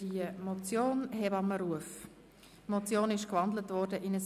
Die Motion ist in ein Postulat umgewandelt worden.